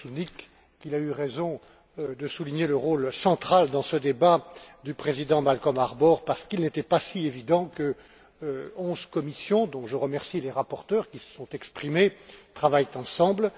Kožušník qu'il a eu raison de souligner le rôle central dans ce débat du président Malcolm Harbour, parce qu'il n'était pas si évident que onze commissions, dont je remercie les rapporteurs qui se sont exprimés, travaillent ensemble.